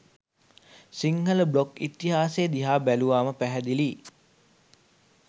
Sinhala blog ඉතිහාසෙ දිහා බැලුවාම පැහැදිළියි.